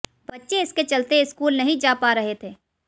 बच्चे इसके चलते स्कूल नहीं जा पा रहे थे